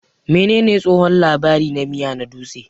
Menene tsohon labari na miya na dutse?